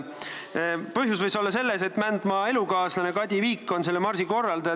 Põhjus võis olla selles, et Mändmaa elukaaslane Kadi Viik on selle marsi korraldaja.